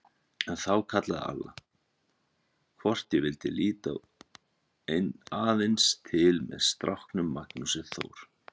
En þá kallaði Alla, hvort ég vildi líta aðeins til með stráknum Magnúsi Þór.